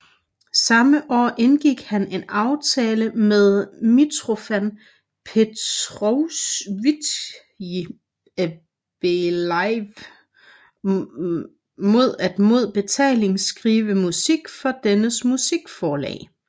Samme år indgik han en aftale med Mitrofan Petrovitj Belaiev mod at mod betaling skrive musik for dennes musikforlag